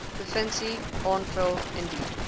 provinsie aanvra indien